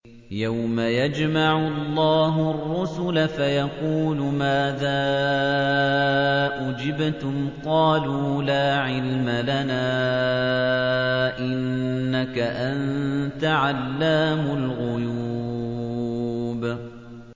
۞ يَوْمَ يَجْمَعُ اللَّهُ الرُّسُلَ فَيَقُولُ مَاذَا أُجِبْتُمْ ۖ قَالُوا لَا عِلْمَ لَنَا ۖ إِنَّكَ أَنتَ عَلَّامُ الْغُيُوبِ